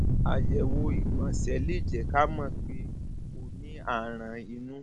àyẹwò ìgbọnsẹ lè jẹ ká mọ pé o mọ pé o ní aràn inú